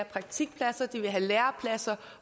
praktikplads eller have en læreplads